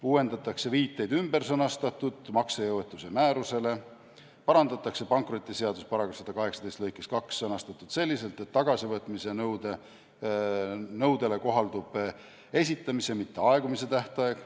Uuendatakse viiteid ümbersõnastatud maksejõuetuse määrusele, parandatakse pankrotiseaduse § 18 lõike 2 sõnastust selliselt, et tagasivõtmise nõudele kohaldub esitamise, mitte aegumise tähtaeg.